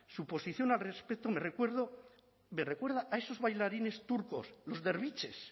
su posición al respecto me recuerda a esos bailarines turcos los derviches